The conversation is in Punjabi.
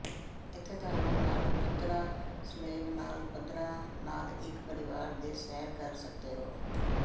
ਇੱਥੇ ਤੁਹਾਨੂੰ ਮਾਰਗ ਪੱਧਰਾ ਸਲੈਬ ਨਾਲ ਪੱਧਰਾ ਨਾਲ ਇੱਕ ਪਰਿਵਾਰ ਦੇ ਸੈਰ ਕਰ ਸਕਦੇ ਹੋ